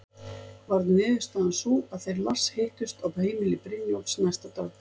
Varð niðurstaðan sú að þeir Lars hittust á heimili Brynjólfs næsta dag.